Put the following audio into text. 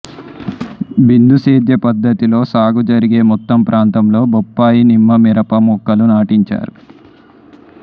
బిందు సేద్య పద్ధతిలో సాగు జరిగే మొత్తం ప్రాంతంలో బొప్పాయి నిమ్మ మిరప మొక్కలు నాటించారు